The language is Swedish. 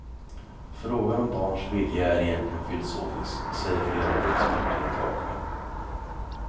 Frågan om barns vilja är egentligen filosofisk, säger flera av de experter jag talat med.